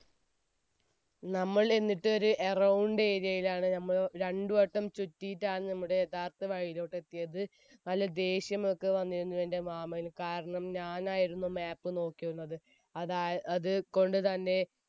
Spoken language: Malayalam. നമ്മൾ എന്നിട്ടൊരു around area യിലാണ് രണ്ടുവട്ടം ചുറ്റിട്ടാണ് നമ്മുടെ യഥാർത്ഥ വഴിയിലോട്ട് എത്തിയത്. നല്ല ദേഷ്യം ഒക്കെ വന്നിരുന്നു എന്റെ മാമന്. കാരണം ഞാൻ ആയിരുന്നു map നോക്കിയിരുന്നത്. അതായ~അതുകൊണ്ടുതന്നെ